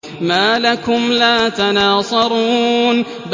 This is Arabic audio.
مَا لَكُمْ لَا تَنَاصَرُونَ